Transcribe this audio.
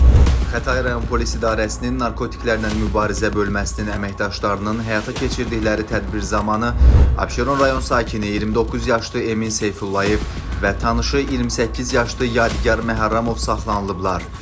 Xətai rayon Polis İdarəsinin Narkotiklərlə Mübarizə Bölməsinin əməkdaşlarının həyata keçirdikləri tədbir zamanı Abşeron rayon sakini 29 yaşlı Emin Seyfullayev və tanışı 28 yaşlı Yadigar Məhərrəmov saxlanılıblar.